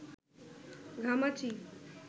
ঘামাচি